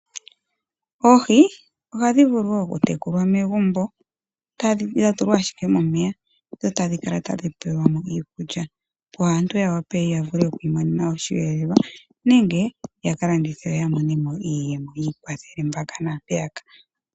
Oohi ohadhi vulu wo okutekulwa megumbo, dha tadhi dha tulwa ashike momeya dho tadhi kala tadhi pelwa mo iikulya, opo aantu ya wape ya vule okwiimonena osheelelwa nenge yaka landithe yo ya mone iiyemo yi ikwathele mpaka naampeya ka.